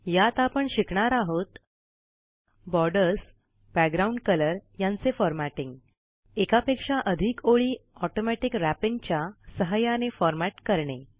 यात आपण शिकणार आहोत बॉर्डर्स बॅकग्राऊंड कलर यांचे फॉरमॅटिंग एकापेक्षा अधिक ओळी ऑटोमॅटिक रॅपिंग च्या सहाय्याने फॉरमॅट करणे